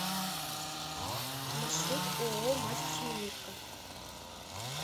маршрут ооо мастер минутка